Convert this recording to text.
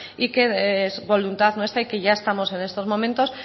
y que es voluntad nuestra y que ya estamos en estos momentos